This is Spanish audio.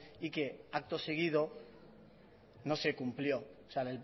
y que acto seguido no se cumplió o sea